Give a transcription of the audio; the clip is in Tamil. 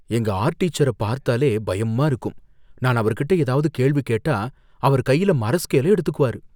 எங்க ஆர்ட் டீச்சர பார்த்தாலே பயமா இருக்கும். நான் அவர்கிட்ட ஏதாவது கேள்வி கேட்டா அவர் கையில மர ஸ்கேலை எடுத்துக்குவாரு.